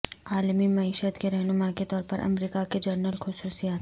عالمی معیشت کے رہنما کے طور پر امریکہ کے جنرل خصوصیات